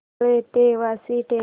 रबाळे ते वाशी ट्रेन